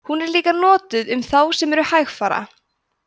hún er líka notuð um þá sem eru hægfara